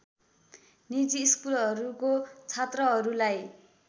निजी स्कुलहरूको छात्रहरूलाई